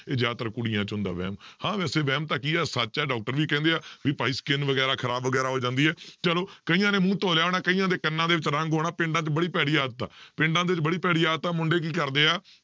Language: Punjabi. ਇਹ ਜ਼ਿਆਦਾਤਰ ਕੁੜੀਆਂ 'ਚ ਹੁੰਦਾ ਵਹਿਮ, ਹਾਂ ਵੈਸੇ ਵਹਿਮ ਤਾਂ ਕੀ ਹੈ ਸੱਚ ਹੈ doctor ਵੀ ਕਹਿੰਦੇ ਹੈ ਵੀ ਭਾਈ skin ਵਗ਼ੈਰਾ ਖ਼ਰਾਬ ਵਗ਼ੈਰਾ ਹੋ ਜਾਂਦੀ ਹੈ, ਚਲੋ ਕਈਆਂ ਨੇ ਮੂੰਹ ਧੋ ਲਿਆ ਹੋਣਾ, ਕਈਆਂ ਦੇ ਕੰਨਾ ਦੇ ਵਿੱਚ ਰੰਗ ਹੋਣਾ, ਪਿੰਡਾਂ 'ਚ ਬੜੀ ਭੈੜੀ ਆਦਤ ਆ, ਪਿੰਡਾਂ ਦੇ ਵਿੱਚ ਬੜੀ ਭੈੜੀ ਆਦਤ ਆ ਮੁੰਡੇ ਕੀ ਕਰਦੇ ਆ